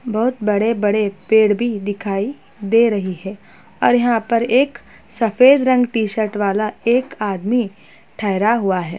बहुत बड़े बड़े पेड़ भी दिखाई दे रहे है और यहाँ पर एक सफ़ेद रंग टी शर्ट वाला एक आदमी ठेहरा हुआ है।